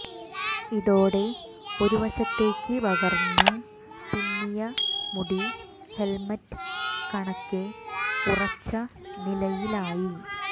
ഇതോടെ ഒരു വശത്തേക്ക് വകർന്ന് പിന്നിയ മുടി ഹെൽമറ്റ് കണക്കെ ഉറച്ച നിലയിലായി